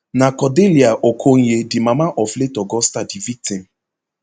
na cordelia okonye di mama of late augusta di victim